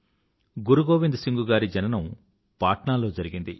గురు గోవిండ్ సింగ్ గారి జననం పాట్నా లో జరిగింది